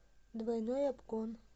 двойной обгон